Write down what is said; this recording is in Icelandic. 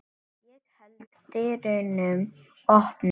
Ég held dyrunum opnum.